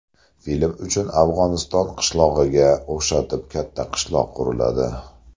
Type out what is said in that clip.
Film uchun Afg‘oniston qishlog‘iga o‘xshatib katta qishloq quriladi.